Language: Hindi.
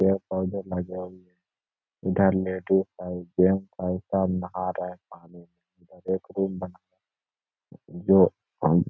पेड़-पौधे लगे हुए इधर लेडीज हई जेंट्स हई सब नहा रहें पानी में इधर एक रूम बना जो अम --